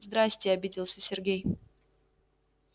здравствуйте обиделся сергей